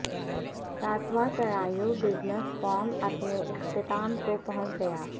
ساتواں Sarajevo business forum اپنے اختتام کو پہنچ گیا